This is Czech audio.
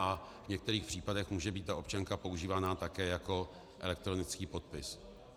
A v některých případech může být ta občanka používaná také jako elektronický podpis.